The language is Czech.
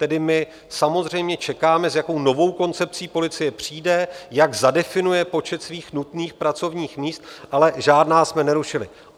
Tedy my samozřejmě čekáme, s jakou novou koncepcí policie přijde, jak zadefinuje počet svých nutných pracovních míst, ale žádná jsme nerušili.